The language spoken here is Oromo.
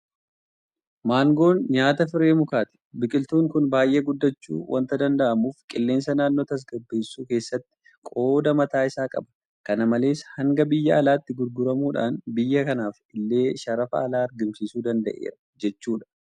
Maangoon nyaata firee mukaati. Biqiltuun kun baay'ee guddachuu waanta danda'uuf qilleensa naannoo tasgabbeessuu keessattis qooda mataa isaa qaba. Kana malees hanga biyya alaatti gurguramuudhaan biyya kanaaf illee sharafa alaa argamsiisuu danda'eera jechuudha.